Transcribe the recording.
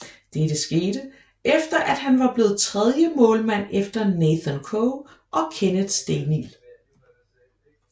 Dette skete efter at han var blevet tredjemålmand efter Nathan Coe og Kenneth Stenild